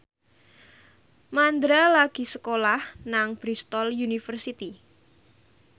Mandra lagi sekolah nang Bristol university